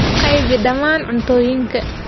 Qaybi dhammaan cuntooyinka.